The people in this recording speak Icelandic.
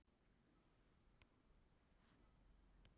Hver eru helstu málin?